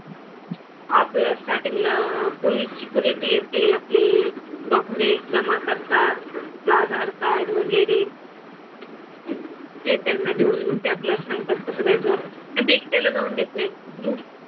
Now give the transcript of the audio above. आपल्या स्टार्टींगला पोलीसची येते आपले डॉक्युमेंट्स जमा करतात. आधार कार्ड वगैरे. ते त्यांना देऊन ते आपल्याला सांगतात कसं जायचं आणि ते एकट्याला जाऊ देत नाहीत. ग्रुप,